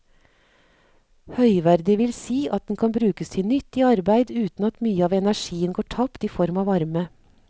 Høyverdig vil si at den kan brukes til nyttig arbeid uten at mye av energien går tapt i form av varme.